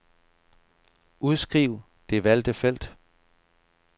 Udskriv det valgte felt.